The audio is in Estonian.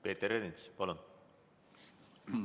Peeter Ernits, palun!